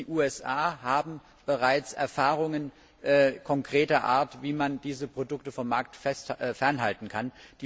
Die USA haben bereits Erfahrungen konkreter Art, wie man diese Produkte vom Markt fernhalten kann.